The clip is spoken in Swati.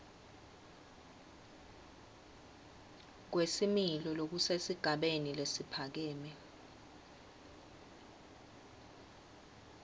kwesimilo lokusesigabeni lesiphakeme